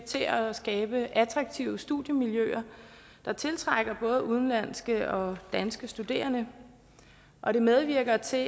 til at skabe attraktive studiemiljøer der tiltrækker både udenlandske og danske studerende og det medvirker til at